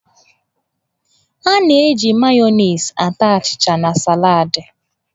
A na-eji Mayoniisị ata achịcha na salad.